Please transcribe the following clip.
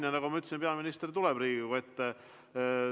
Ja nagu ma ütlesin, peaminister tuleb Riigikogu ette.